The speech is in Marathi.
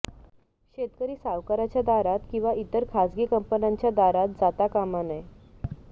शेतकरी सावकाराच्या दारात किंवा इतर खाजगी कंपन्यांच्या दारात जाता कामा नये